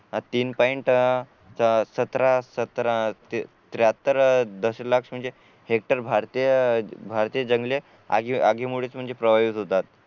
हा तीन पॉइंट च्या सतरा सतराशे त्र्याहत्तर अह दशलक्ष म्हणजे हेक्टर भारतीय भारतीय जंगले आगी आगीमुळेच म्हणजे प्रवाह युद्ध होतात